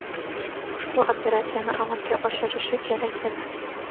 ushbu operatsiyani amalga oshirishi kerak edi.